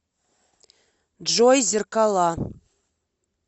джой зеркала